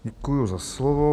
Děkuji za slovo.